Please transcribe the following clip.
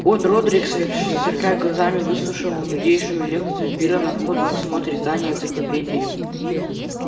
от родрик сверкая глазами выслушивал нуднейшую лекцию пиренна в ходе осмотра здания энциклопедии